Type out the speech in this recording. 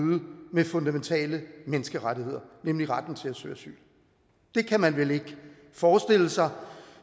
med fundamentale menneskerettigheder nemlig retten til at søge asyl det kan man vel ikke forestille sig